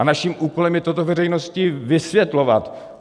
A naším úkolem je toto veřejnosti vysvětlovat.